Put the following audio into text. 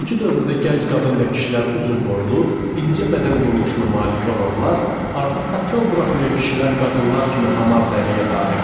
İndiki dövrdə gənc qadın və kişilər uzunboylu, incə bədən quruluşuna malik olanlar, artıq saqqal buraxmayan kişilər qadınlar kimi hamar dəriyə sahibdir.